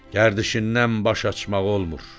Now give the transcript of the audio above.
Gərdişindən baş açmaq olmur.